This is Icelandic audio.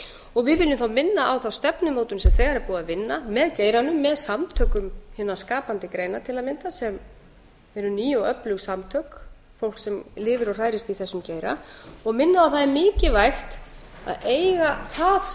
og við viljum þá minna á þá stefnumótun sem þegar er búið að vinna með geiranum með samtökum hinna skapandi greina til að mynda sem eru ný og öflug samtök fólk sem lifir og hrærist í þessum geira og minna á að það er hægt að eiga það